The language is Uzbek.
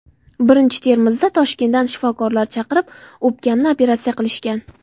Birinchi Termizda Toshkentdan shifokorlar chaqirib, o‘pkamni operatsiya qilishgan.